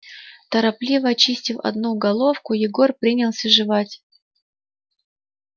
торопливо очистив одну головку егор принялся жевать